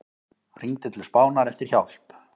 Hringdi til Spánar eftir hjálp